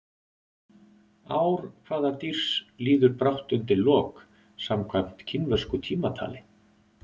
Ár hvaða dýrs líður brátt undir lok samkvæmt kínversku tímatali?